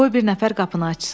Qoy bir nəfər qapını açsın.